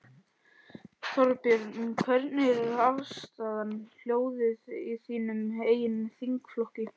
Þorbjörn: Hvernig er afstaðan, hljóðið í þínum eigin þingflokki?